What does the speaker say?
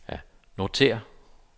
notér